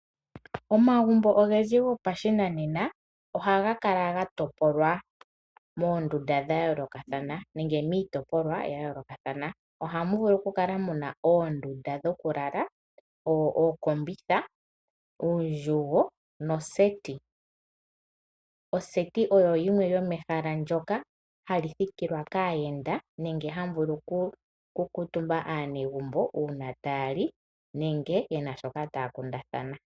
Omagumbo ogendji go pashinanena, ohaga kala ga topolwa moondunda dha yoolokathathana nenge miitopolwa ya yoolokathathana. Ohamu vulu ku kala mu na oondunda dhoku lala, ookombitha, uundjugo no seti. Oseti olyo ehala ndyoka hali thikilwa kaayenda nenge hamu kuutumbwa kaanegumbo uuna taya li nenge yena shoka taya kundathana.